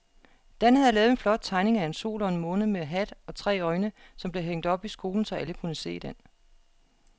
Dan havde lavet en flot tegning af en sol og en måne med hat og tre øjne, som blev hængt op i skolen, så alle kunne se den.